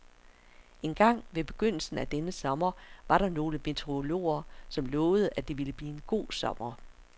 Engang ved begyndelsen af denne sommer var der nogle meteorologer, som lovede, at det ville blive en god sommer.